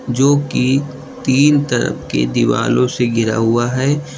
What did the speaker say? जोकि तीन तरफ की दीवालों से घिरा हुआ है।